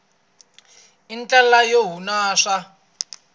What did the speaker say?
i ndlela yo hunasa